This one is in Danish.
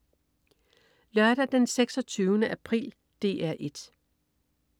Lørdag den 26. april - DR 1: